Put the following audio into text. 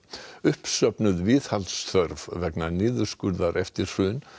uppsöfnuð viðhaldsþörf vegna niðurskurðar eftir hrun